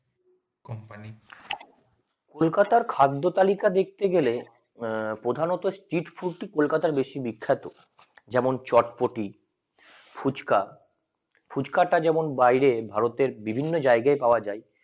কলকাতা খাদ্য তালিকায় দেখতে গেলে প্রথমত স্টেট ফট্টি কলকাতা আর বেশি বিখ্যাত যেমন চটপটি ফুচকা ফুচকাটা যেমন বাইরে ভারতের বিভিন্ন জায়গায় পাওয়া যায়